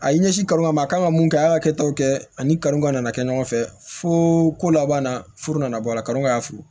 A ye ɲɛsin kalan ma a kan ka mun kɛ a y'a kɛ taw kɛ ani kalon ka na kɛ ɲɔgɔn fɛ fo ko laban na furu nana bɔ a la kalon ka fili